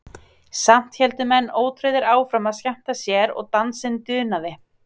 Samt héldu menn ótrauðir áfram að skemmta sér og dansinn dunaði.